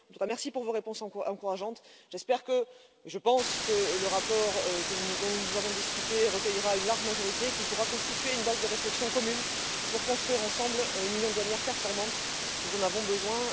En tout cas, merci pour vos réponses encourageantes, j'espère et je pense que le rapport dont nous avons discuté recueillera une large majorité et qu'il pourra constituer une base de réflexion commune pour construire ensemble une union douanière performante. Nous en avons besoin.